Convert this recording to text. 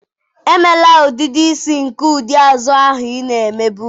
Emela udidi isi nke ụdị azụ ahụ ị na-emebu!